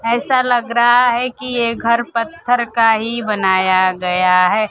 ऐसा लग रहा है कि ये घर पत्थर का ही बनाया गया है।